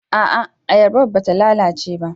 A'a, ayabar ba ta lalace ba.